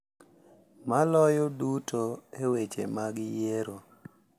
Maloyo duto e weche mag yiero.